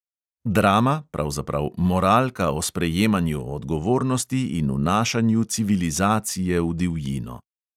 Drama, pravzaprav moralka o sprejemanju odgovornosti in vnašanju civilizacije v divjino.